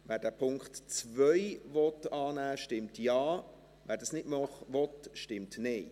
Wer den Punkt 2 annehmen will, stimmt Ja, wer das nicht will, stimmt Nein.